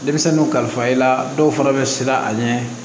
Denmisɛnninw kalifa i la dɔw fana bɛ siran a ɲɛ